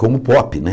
Como o pop, né?